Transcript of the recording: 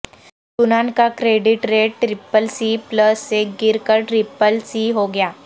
یونان کا credit rate triple C plus سے گر کر ٹرپل سی ہو گیا